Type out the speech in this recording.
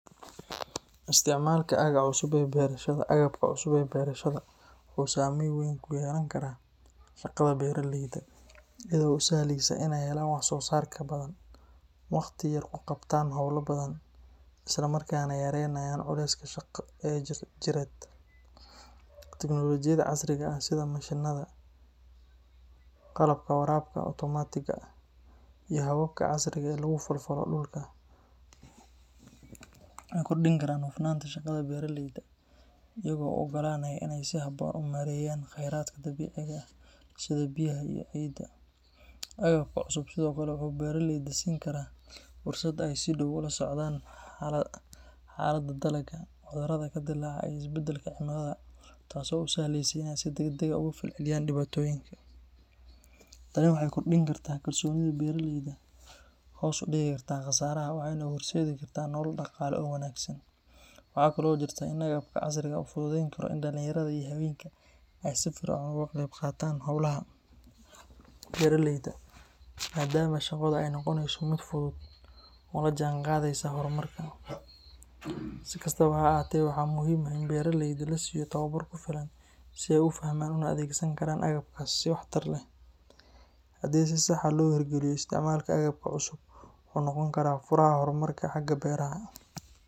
Isticmaalka agabka cusub ee beerashada waxa uu saameyn weyn ku yeelan karaa shaqada beeraleyda, iyadoo u sahleysa inay helaan wax-soo-saar ka badan, waqti yar ku qabtaan howlo badan, islamarkaana yareeyaan culayska shaqo ee jireed. Tiknoolajiyadda casriga ah sida mashiinnada, qalabka waraabka otomaatiga ah, iyo hababka casriga ah ee lagu falfalo dhulka waxay kordhin karaan hufnaanta shaqada beeraleyda, iyagoo u oggolaanaya inay si habboon u maareeyaan khayraadka dabiiciga ah sida biyaha iyo ciidda. Agabka cusub sidoo kale waxa uu beeraleyda siin karaa fursad ay si dhow ula socdaan xaaladda dalagga, cudurrada ka dillaaca, iyo isbeddelka cimilada taasoo u sahleysa inay si degdeg ah uga falceliyaan dhibaatooyinka. Tani waxay kordhin kartaa kalsoonida beeraleyda, hoos u dhigi kartaa khasaaraha, waxayna u horseedi kartaa nolol dhaqaale oo wanaagsan. Waxaa kaloo jirta in agabka casriga ah uu fududeyn karo in dhalinyarada iyo haweenka ay si firfircoon uga qayb qaataan howlaha beeraleyda, maadaama shaqada ay noqonayso mid fudud oo la jaanqaadaysa horumarka. Si kastaba ha ahaatee, waxaa muhiim ah in beeraleyda la siiyo tababar ku filan si ay u fahmaan una adeegsan karaan agabkaas si waxtar leh. Haddii si sax ah loo hirgeliyo, isticmaalka agabka cusub wuxuu noqon karaa furaha horumarka xagga beeraha.